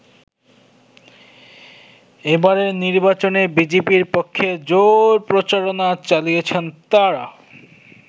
এবারের নির্বাচনে বিজেপির পক্ষে জোর প্রচারণা চালিয়েছেন তারা।